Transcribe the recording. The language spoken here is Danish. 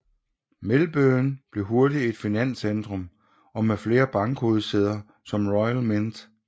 Melbourne blev hurtigt et stort finanscentrum og med flere bankhovedsæder som Royal Mint